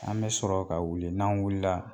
An bɛ sɔrɔ ka wuli n'an wulila